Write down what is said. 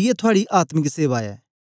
इयै थुआड़ी आत्मिक सेवा ऐ